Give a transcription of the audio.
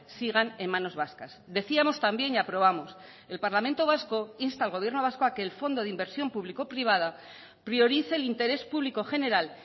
sigan en manos vascas decíamos también y aprobamos el parlamento vasco insta al gobierno vasco a que el fondo de inversión público privada priorice el interés público general